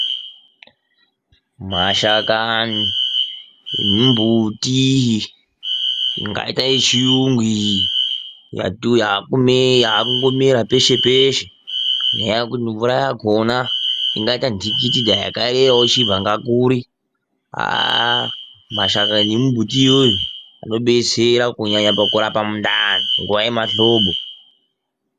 Mashakani emumbuti ingaita yechiyungu iyi yakungomera peshe peshe, ngenyaa yekuti mvura yakona ingaita ndhikiti, dai yakaereravo ichibva nakuri aaah, mashakani emumbuti iyoyo anodetsera kunyanya pakurapa mundani nguva yemahlobo.